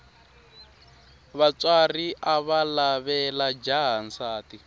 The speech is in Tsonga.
vatswari avalavela jaha nsati